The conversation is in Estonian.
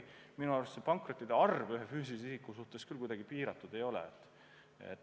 Minu arust pankrottide arv ühe füüsilise isiku puhul küll kuidagi piiratud ei ole.